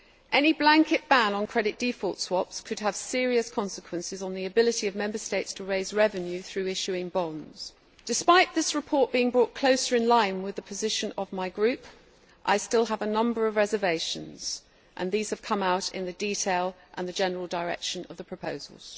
Any blanket ban on credit default swaps could have serious consequences on the ability of Member States to raise revenue through issuing bonds. Despite this report being brought closer into line with the position of my Group, I still have a number of reservations, and these have come out in the detail and the general direction of the proposals.